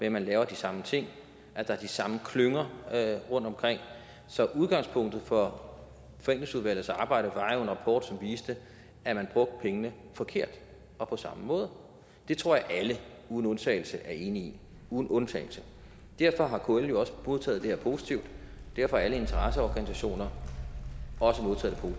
at man laver de samme ting og at der er de samme klynger rundtomkring så udgangspunktet for forenklingsudvalgets arbejde var en rapport som viste at man brugte pengene forkert og på samme måde det tror jeg alle uden undtagelse er enige i uden undtagelse derfor har kl jo også modtaget det her positivt og derfor har alle interesseorganisationer også modtaget